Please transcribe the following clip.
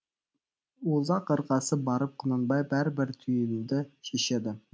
ұзақ ырғасып барып құнанбай бәрібір түйінді шешеді